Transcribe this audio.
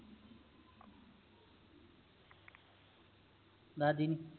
ਦੱਸਦੀ ਨੀ